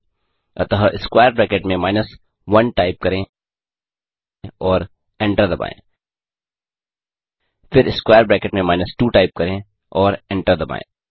अतः square bracket में minus 1 type करें और एंटर दबाएँ फिर स्क्वेयर ब्रैकेट में माइनस 2 टाइप करें और एंटर दबाएँ